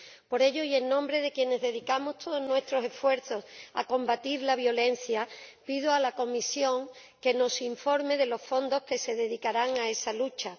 Por ello, y en nombre de quienes dedicamos todos nuestros esfuerzos a combatir la violencia, pido a la Comisión que nos informe de los fondos que se dedicarán a esa lucha.